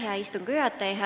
Hea istungi juhataja!